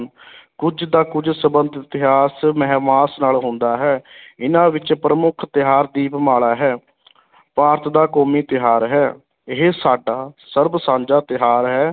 ਕੁੱਝ ਦਾ ਕੁੱਝ ਸੰਬੰਧ ਇਤਿਹਾਸ, ਮਹਿਮਾਸ ਨਾਲ ਹੁੰਦਾ ਹੈ ਇਨ੍ਹਾਂ ਵਿੱਚ ਪ੍ਰਮੁੱਖ ਤਿਉਹਾਰ ਦੀਪਮਾਲਾ ਹੈ ਭਾਰਤ ਦਾ ਕੌਮੀ ਤਿਉਹਾਰ ਹੈ, ਇਹ ਸਾਡਾ ਸਰਬ ਸਾਂਝਾ ਤਿਉਹਾਰ ਹੈ